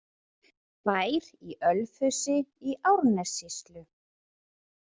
Bær í Ölfusi í Árnessýslu.